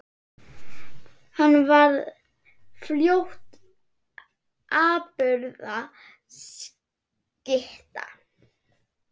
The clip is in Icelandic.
Hann varð fljótt afburða skytta.